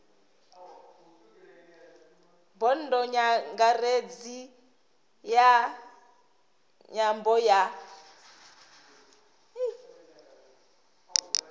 bodo nyangaredzi ya nyambo ya